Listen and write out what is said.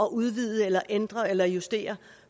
at udvide eller ændre eller justere